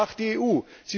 Aber was macht die EU?